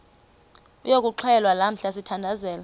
yokuxhelwa lamla sithandazel